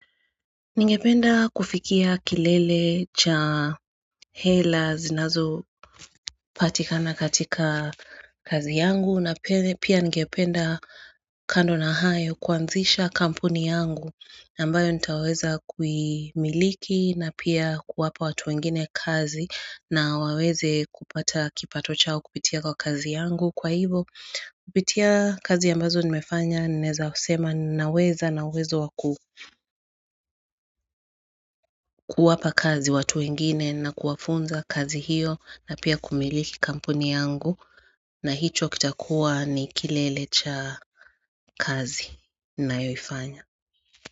Ningependa kufikia kilele cha hela zinazo patikana katika kazi yangu na pia ningependa kando na hayo kuanzisha kampuni yangu ambayo nitaweza kumiliki na pia kuwapa watu wengine kazi na waweze kupata kipato chao kupitia kwa kazi yangu Kwa hivyo, kupitia kazi ambazo nimefanya ninaweza kusema naweza nawezo wakuwapa kazi watu wengine na kuwafunza kazi hiyo na pia kumiliki kampuni yangu na hicho kitakuwa ni kilelecha kazi nayoifanya.